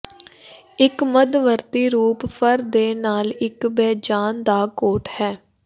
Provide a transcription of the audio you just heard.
ਇੱਕ ਮੱਧਵਰਤੀ ਰੂਪ ਫਰ ਦੇ ਨਾਲ ਇੱਕ ਬੇਜਾਨ ਦਾ ਕੋਟ ਹੈ